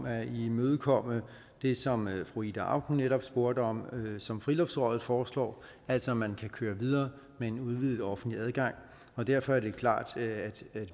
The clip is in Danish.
at imødekomme det som fru ida auken netop spurgte om og som friluftsrådet foreslår altså at man kan køre videre med en udvidet offentlig adgang derfor er det klart at